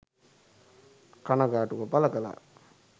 කනගාටුව පළ කළා.